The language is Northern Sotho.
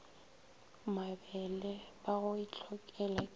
mebele ba go itlhokela ke